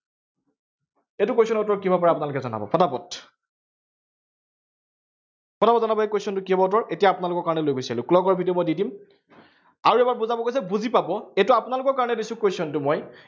এইটো question ৰ উত্তৰ কি হব পাৰে, আপোনালোকে জনাব, পটাপট পটাপট জনাব, এই question টোৰ কি হব উত্তৰ? এতিয়া আপোনলোকৰ কাৰনে লৈ গুছি আহিলো। clock ৰ video মই দি দিম। আৰু এবাৰ বুজাব কৈছে, বুজি পাব এইটো আপোনালোকৰ কাৰনে দিছো question টো মই